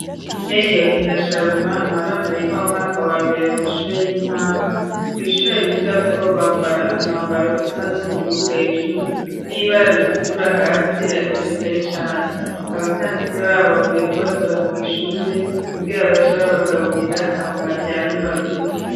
Heriyote na Sharuma n' abana biga mumwaka wa mbere mu mashure y'intango kwishure biga ko bambara umwambaro usa n'ubururu hejuru n'ibara ritukura hasi ariko bitari cane .Abatantine babo bavuye kubatora ku ishure kubwira bace babagaburira hama baryame baruhuke.